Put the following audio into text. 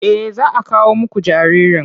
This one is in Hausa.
Eh za a kawo muku jaririn.